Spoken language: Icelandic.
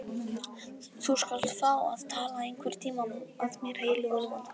Þú skalt fá að tala einhverntíma að mér heilli og lifandi.